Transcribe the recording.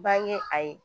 Bange a ye